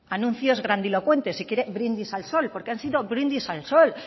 anuncios grandilocuentes si quiere brindis al sol porque han sido brindis al sol